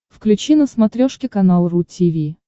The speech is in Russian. включи на смотрешке канал ру ти ви